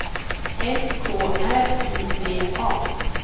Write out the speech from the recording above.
S K R I V A